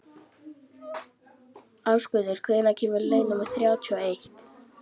Ásgautur, hvenær kemur leið númer þrjátíu og eitt?